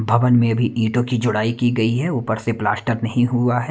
भवन में भी इटों की जुड़ाई की गई है ऊपर से प्लास्टर नहीं हुआ।